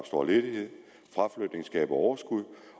stor ledighed fraflytning skaber overskud